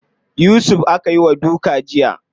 Yusuf aka yi wa duka jiya.